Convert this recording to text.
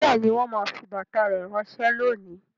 Bẹẹni, wọn máa fi bàtà rẹ ránsẹ́ lónìí